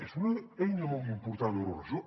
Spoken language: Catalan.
és una eina molt important l’euroregió